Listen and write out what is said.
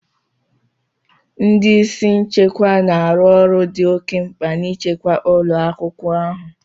Ndị isi nchekwa na-arụ ọrụ dị oke mkpa n'ichekwa ụlọ akwụkwọ ahụ.